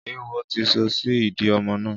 Éwo ti sọ sí ìdí ọmọ náà